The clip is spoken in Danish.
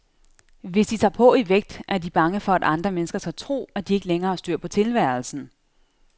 Hvis de tager på i vægt, er de bange for, at andre mennesker skal tro, at de ikke længere har styr på tilværelsen.